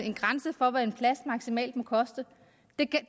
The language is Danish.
en grænse for hvad en plads maksimalt må koste